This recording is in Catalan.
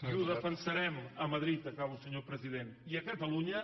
i ho defensarem a madrid acabo senyor president i a catalunya